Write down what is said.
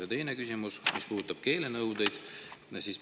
Ja teine küsimus puudutab keelenõudeid.